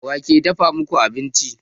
Wa ke dafa muku abinci?